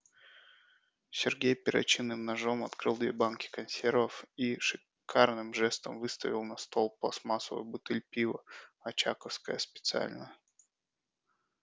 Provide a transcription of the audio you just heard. сергей перочинным ножом открыл две банки консервов и шикарным жестом выставил на стол пластмассовую бутыль пива очаковское специальное